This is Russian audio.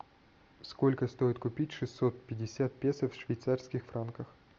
сколько стоит купить шестьсот пятьдесят песо в швейцарских франках